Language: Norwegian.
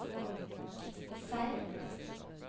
Seim